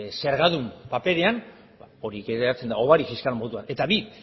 zergadun paperean horrela geratzen da hobari fiskal moduan eta bi